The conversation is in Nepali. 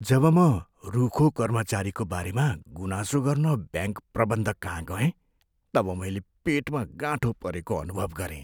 जब म रुखो कर्मचारीको बारेमा गुनासो गर्न ब्याङ्क प्रबन्धककहाँ गएँ तब मैले पेटमा गाँठो परेको अनुभव गरेँ।